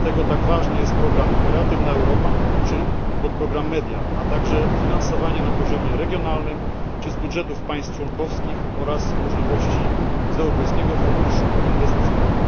Dlatego tak ważny jest program Kreatywna Europa oraz podprogram MEDIA, a także finansowanie na poziomie regionalnym czy z budżetów państw członkowskich oraz możliwości finansowania z Europejskiego Funduszu Inwestycyjnego.